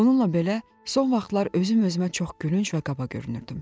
Bununla belə, son vaxtlar özüm-özümə çox gülünc və qaba görünürdüm.